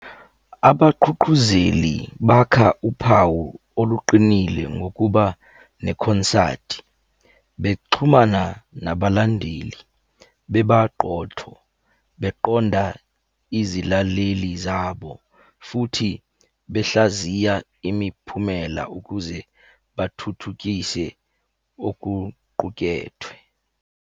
Abaqhuqhuzeli bakha uphawu oluqinile ngokuba nekhonsathi. Bexhumana nabalandeli, bebaqotho, beqonda izilaleli zabo, futhi behlaziya imiphumela ukuze bathuthukise okuqukethwe.